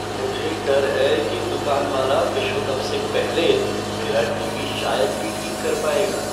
मुझे डर है कि दुकान वाला विश्व कप से पहले मेरा टीवी शायद ही ठीक कर पाएगा।